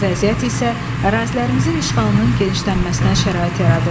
Bu vəziyyət isə ərazilərimizin işğalının genişlənməsinə şərait yaradırdı.